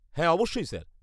-হ্যাঁ অবশ্যই, স্যার।